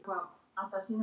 Svara engu.